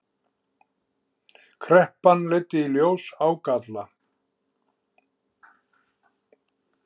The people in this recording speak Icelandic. Kreppan leiddi í ljós ágalla